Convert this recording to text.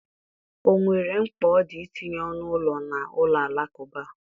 O nwere mkpa ọ dị itinye ọnụ ụlọ na ụlọ alakụba?